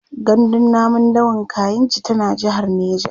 gandun namun dawan kainji tana jehar neja